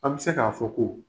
An bɛ se k'a fɔ ko